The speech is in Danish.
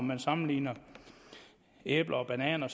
man sammenligner æbler og bananer